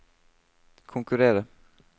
konkurrere